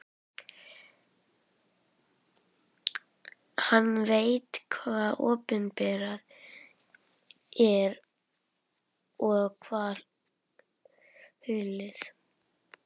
Hann veit hvað opinberað er og hvað hulið.